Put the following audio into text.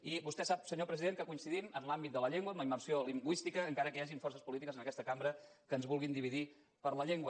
i vostè sap senyor president que coincidim en l’àmbit de la llengua en la immersió lingüística encara que hi hagin forces polítiques en aquesta cambra que ens vulguin dividir per la llengua